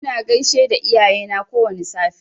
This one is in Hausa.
Ina gaishe da iyayena kowwani safe.